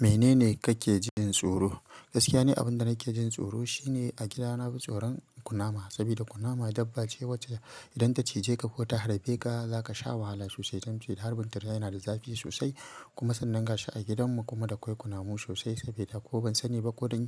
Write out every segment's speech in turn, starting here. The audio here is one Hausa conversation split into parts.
Menene kake jin tsoro? Gaskiya ni abinda nake jin tsoro shine a gida nafi tsoron kunama saboda kunama dabba ce wacce idan ta cije ka ko ta harbe ka, zakasha wahala sosai don cewa harbin ta yana da zafi sosai kuma sannan gashi a gidan mu kuma da kwai kunamu sosai saboda ko ban sani ba ko don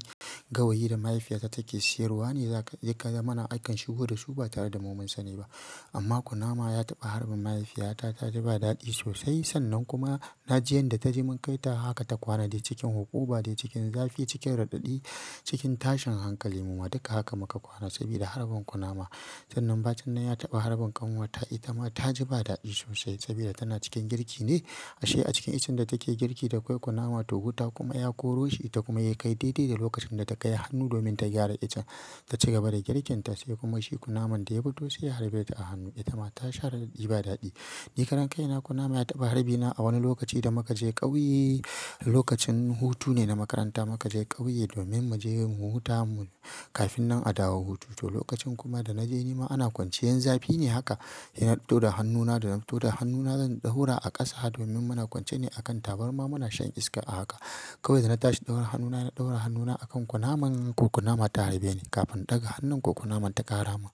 gawayi da mahaifiyata take siyarwa ne zaka, ya kawo mana akan shigo dasu ba tareda mu mun sani ba. Amma kunama ya taɓa harbin mahaifiyata, taji ba dadi sosai. Sannan kuma naji yanda taji mun kai ta haka ta kwana dai cikin hukuba dai cikin zafi, cikin raɗaɗi, cikin tashin hankali. Mu ma duka haka muka kwana saboda harbin kunama. Sannan bacin nan ya taɓa harbin ƙanwata, itama taji ba dadi sosai saboda tana cikin girki ne. Ashe a cikin iccen da take girki da kwai kunama tu wuta kuma ya koro shi, ita kuma ya kai daidai da lokacin da ta kai hannu domin ta gyara iccen ta shiga bari girkinta sai kuma shi kunaman da ya fito sai ya harbe ta a hannu. Ita ma ta sha raɗaɗi ba dadi. Ni karen kaina kunama ya taɓa harbi na a wani lokaci da mukaje ƙauye. Lokacin hutu ne na makaranta muka je ƙauye domin muje mu huta mu, kafin nan a dawo hutu. To lokacin kuma da naje nima ana kwanciyan zafi ne haka. Ina fito da hannuna, da na fito da hannuna zan ɗaura a ƙasa domin muna kwance ne a kan tabarma muna shan iska a haka. Kawai da na tashi ɗaura hannuna, na ɗaura hannuna a kan kunaman, ko kunama ta harbe ni kafin ɗaga hannun ko kunaman ta ƙara mun.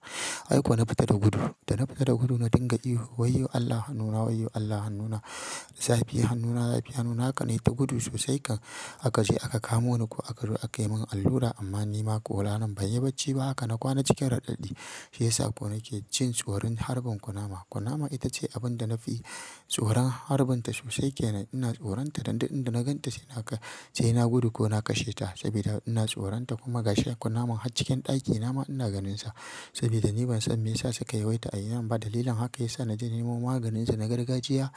Ai ko na fita da gudu. Dana fita da gudu na dinga ihu wayyo Allah hannuna, wayyo Allah hannuna, zafi hannuna, zafi hannuna haka nayi ta gudu sosai kan akaje aka kamo ni ko akazo, akayimin allura amma nima ko ranan ban yi bacci ba haka na kwana cikin raɗaɗi. Shiyasa ko nake jin tsoron harbin kunama. Kunama itace abinda nafi tsoron harbin ta sosai ke. Ina tsoron ta, dan duk inda na ganta sai naka. Sai na gudu ko na kashe ta saboda ina tsoron ta kuma gashi da kunaman har cikin ɗaki, nama ina ganinsa saboda ni ban san meyasa suka yawaita a gidan ba. Dalilin haka yasa naje na nemo maganinsu na gargajiya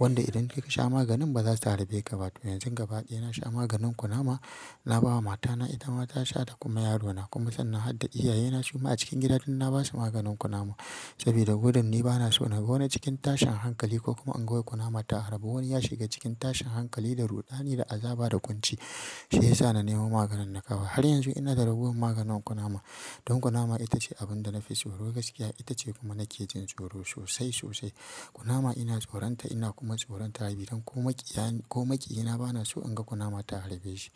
wanda idan kasha maganin bazasu harbe ka ba. Domin yanzu gaba daya, nasha maganin kunama. Nabawa matana, itama tasha da kuma yarona kuma sannan har da iyaye na suma a cikin gida duk na basu maganin kunama. Gudun ni banaso naga wani cikin tashin hankali ko kuma inga kunama ta harbi wani yashiga tashin hankali. Shiyasa na nemo maganin na kawo. Har yanzu inada ragowar maganin kunama don kunama itace abinda nafi tsoro gaskiya. Itace kuma nake jin tsoro sosai, sosai. Kunama ina tsoronta kuma ina tsoron ta harbeni don ko makiyina banaso inga kunama ta harbe shi.